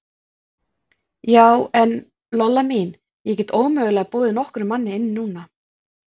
Já, en, Lolla mín, ég get ómögulega boðið nokkrum manni inn núna.